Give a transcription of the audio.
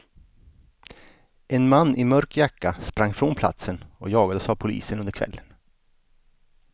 En man i mörk jacka sprang från platsen och jagades av polisen under kvällen.